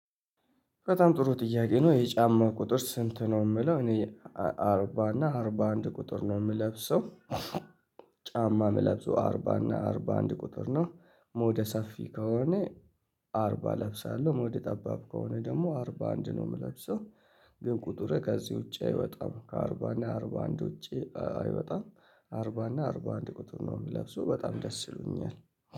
ከጣም ጥሩ ጥያቄ ነው የጫማ ቁጥር ስንት ነው የምለው? እኔ አርባ እና አርባ አንድ ቁጥር ነው የምለብሰው። ጫማ ምለብሰው አርባ እና አርባ አንድ ቁጥር ነው። ሞደ ሰፊ ከሆነ አርባ እለብሳለሁ ሞደ ጠባብ ከሆነ ደግሞ አርባ አንድ ነው የምለብሰው። ግን ቁጥርህ ከዚህ ውጪ አይወጣም ከአርባ እና አርባ አንድ ውጪ አይወጣም። አርባ እና አርባ አንድ ቁጥር ነው የምለብሰው በጣም ደስ ይሉኛል።